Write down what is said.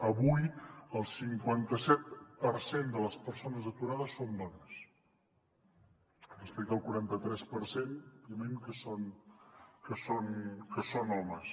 avui el cinquanta set per cent de les persones aturades són dones respecte al quaranta tres per cent òbviament que són homes